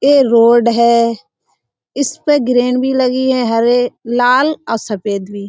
यह रोड है। इसपे ग्रील भी लगी है हरे लाल और सफेद भी।